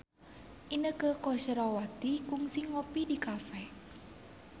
Inneke Koesherawati kungsi ngopi di cafe